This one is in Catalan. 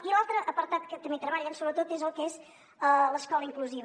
i l’altre apartat que també treballen sobretot és el que és l’escola inclusiva